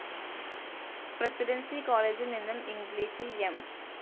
Presidency കോളേജിൽ നിന്നും ഇംഗ്ലീഷിൽ എം.